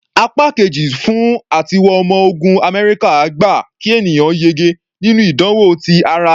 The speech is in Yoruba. Apá Kejì fún àtiwọ ọmọ ogun Amẹ́ríkà gba kí ènìyàn yege nínú ìdánwò ti ara.